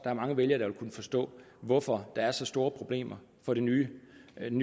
er mange vælgere der vil kunne forstå hvorfor der er så store problemer for den nye